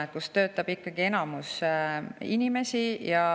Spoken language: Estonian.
Sihtasutustes töötab ikkagi enamik neist inimestest.